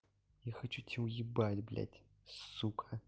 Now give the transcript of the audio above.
я хочу тебя уебать блять сука